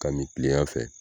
K'a min tilegan fɛ